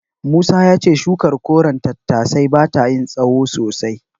Musa ya ce shukar koren tattasai bata yin tsahon sosai.